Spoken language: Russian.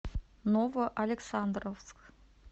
новоалександровск